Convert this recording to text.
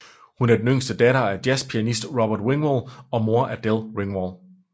Hun er den yngste datter af jazzpianist Robert Ringwald og mor Adele Ringwald